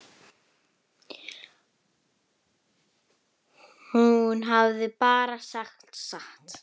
Hún hafði bara sagt satt.